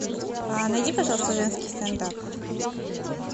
найди пожалуйста женский стендап